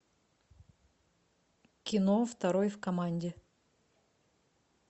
кино второй в команде